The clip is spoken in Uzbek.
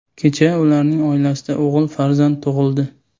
Kecha ularning oilasida o‘g‘il farzand tug‘ildi.